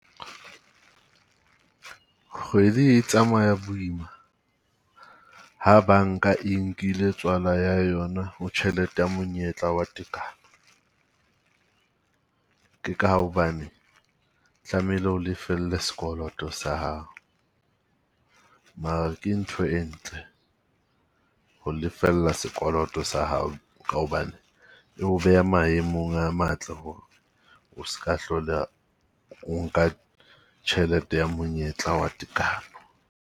Kgwedi e tsamaya boima ha banka e nkile tswala ya yona tjhelete ya monyetla wa tekano. Ke ka hobane tlamehile o lefelle sekoloto sa hao. Mara ke ntho e ntle ho lefella sekoloto sa hao, ka hobane e o beha maemong a matle hore o ska hlola nka tjhelete ya monyetla wa tekano.